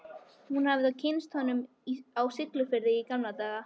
Hún hafði þá kynnst honum á Siglufirði í gamla daga.